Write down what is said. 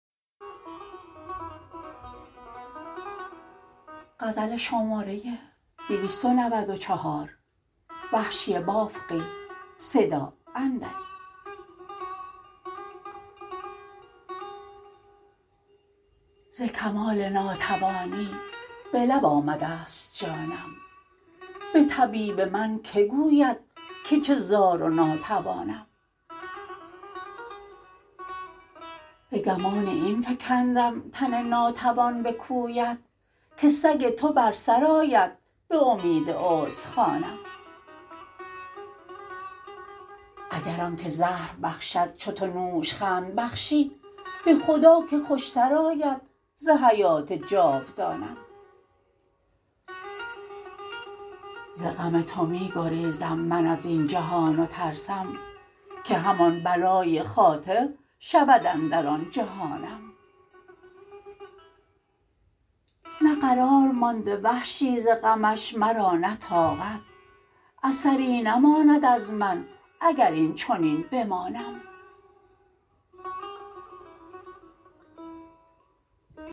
ز کمال ناتوانی به لب آمدست جانم به طبیب من که گوید که چه زار و ناتوانم به گمان این فکندم تن ناتوان به کویت که سگ تو بر سر آید به امید استخوانم اگر آن که زهر باشد چو تو نوش خند بخشی به خدا که خوش تر آید ز حیات جاودانم ز غم تو می گریزم من ازین جهان و ترسم که همان بلای خاطر شود اندر آن جهانم نه قرار مانده وحشی ز غمش مرا نه طاقت اثری نماند از من اگر این چنین بمانم